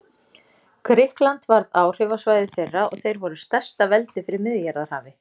Grikkland varð áhrifasvæði þeirra og þeir voru stærsta veldi fyrir Miðjarðarhafi.